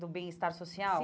Do Bem-Estar Social. Sim